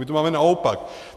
My to máme naopak.